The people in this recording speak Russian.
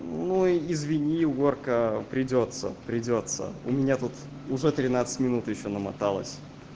ну извини уборка придётся придётся у меня тут уже тринадцать минут ещё намоталось